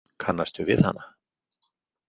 Kannastu við hana?